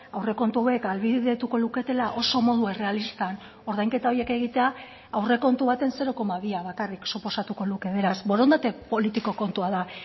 aurrekontu hauek ahalbidetuko luketela oso modu errealistan ordainketa horiek egitea aurrekontu baten zero koma bia bakarrik suposatuko luke beraz borondate politiko kontua da